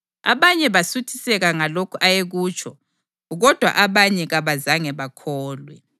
Abanye basuthiseka ngalokhu ayekutsho, kodwa abanye kabazange bakholwe.